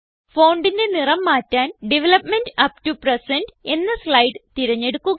fontന്റെ നിറം മാറ്റാൻ development up to present എന്ന സ്ലൈഡ് തിരഞ്ഞെടുക്കുക